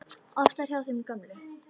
Oftar hjá þeim gömlu.